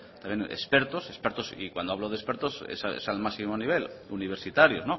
también expertos expertos y cuando hablo de expertos es al máximo nivel universitarios